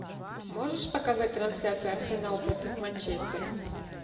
можешь показать трансляцию арсенал против манчестера